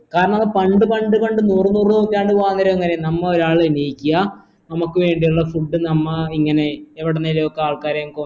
കാരണം പണ്ട് പണ്ട് പണ്ടു നൂറുനൂറുനൂറ്റാണ്ട് കാലംവരെ നമ്മൊരാൾ എണീക്കിയ നമ്മക് വേണ്ടിയിള്ള food നമ്മ ഇങ്ങനെ എവിടുന്നെലൊക്കെ ആൾക്കാരെ